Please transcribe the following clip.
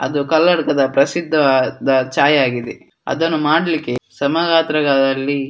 ಅದು ಕನ್ನಡಕದ ಪ್ರಸಿದ್ದವಾದ ಛಾಯೆ ಆಗಿದೆ ಅದನ್ನು ಮಾಡ್ಲಿಕ್ಕೆ ಸಮಗಾತ್ರಗಳಲ್ಲಿ --